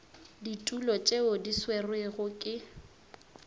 ditulo tšeo di swerwego ke